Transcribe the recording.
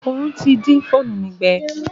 Òòrùn ti dín fóònù mi gbẹ.